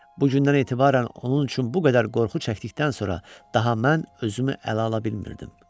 Bu gündən etibarən onun üçün bu qədər qorxu çəkdikdən sonra daha mən özümü ələ ala bilmirdim.